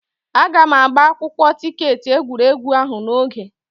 Aga m agba akwụkwọ tiketi egwuregwu ahụ n'oge.